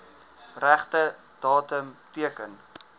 regte datum teken